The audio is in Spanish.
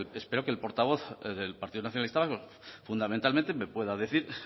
espero que el portavoz del partido nacionalista vasco fundamentalmente me pueda decir